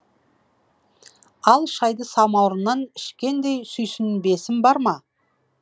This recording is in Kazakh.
ал шайды самаурыннан ішкендей сүйсінбесім бар ма